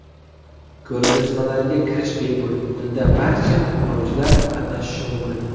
Ko‘rgazmalarga kirish bepul, unda barcha xohlovchilar qatnashishi mumkin.